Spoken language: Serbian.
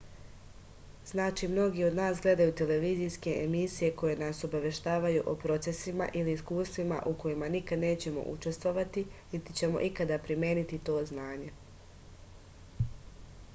znači mnogi od nas gledaju televizijske emisije koje nas obaveštavaju o procesima ili iskustvima u kojima nikad nećemo učestovati niti ćemo ikad primeniti to znanje